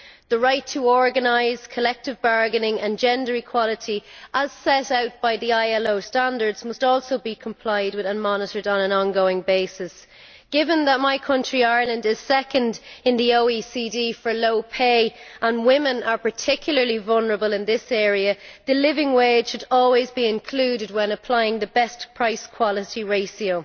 The right to organise collective bargaining and gender equality, as set out by the ILO standards, must also be complied with and monitored on an ongoing basis. Given that my country, Ireland, is second in the OECD for low pay and women are particularly vulnerable in this area the living wage should always be included when applying the best price quality ratio.